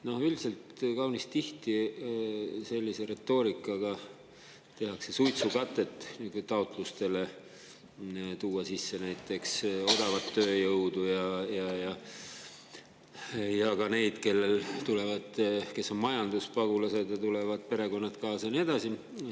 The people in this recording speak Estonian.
Noh, üldiselt kaunis tihti sellise retoorikaga tehakse suitsukatet taotlustele tuua sisse näiteks odavat tööjõudu ja ka neid, kes on majanduspagulased ja kellel tulevad perekonnad kaasa, ja nii edasi.